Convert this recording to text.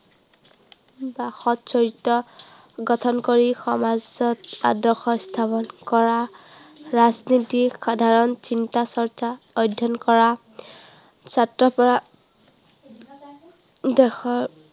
বা সত চৰিত্ৰ, গঠন কৰি সমাজত আদৰ্শ স্থাপন কৰা। ৰাজনীতিত সাধাৰণ চিন্তা-চৰ্চা অধ্য়য়ন কৰা। ছাত্ৰৰ পৰা দেশৰ